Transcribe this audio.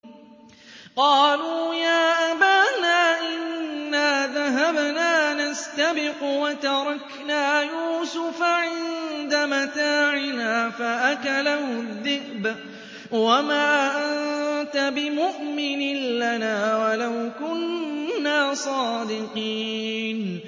قَالُوا يَا أَبَانَا إِنَّا ذَهَبْنَا نَسْتَبِقُ وَتَرَكْنَا يُوسُفَ عِندَ مَتَاعِنَا فَأَكَلَهُ الذِّئْبُ ۖ وَمَا أَنتَ بِمُؤْمِنٍ لَّنَا وَلَوْ كُنَّا صَادِقِينَ